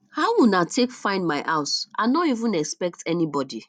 how una take find my house i no even expect anybody